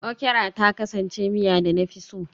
Okra ta kasance miya da na fi so